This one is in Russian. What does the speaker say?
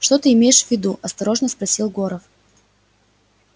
что ты имеешь в виду осторожно спросил горов